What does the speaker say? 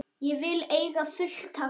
Ég vil eiga fullt af vinum.